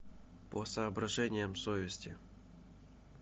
по соображениям совести